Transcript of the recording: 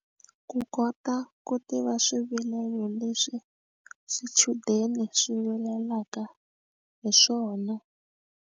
Ku kota ku tiva swivilelo leswi swichudeni swi vilelaka hi swona.